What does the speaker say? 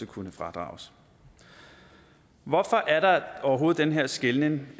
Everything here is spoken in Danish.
kunne fradrages hvorfor er der overhovedet den her skelnen